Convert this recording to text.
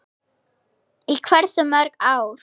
Í hversu mörg ár?